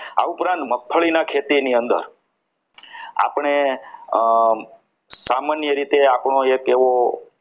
આ ઉપરાંત મગફળીના ખેતીની અંદર આપણે સામાન્ય રીતે આપણો એક એવો